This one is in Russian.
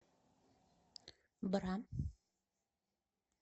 бра